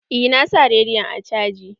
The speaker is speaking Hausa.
Eh na sa rediyon are caji.